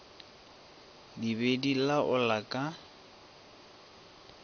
di be di laola ka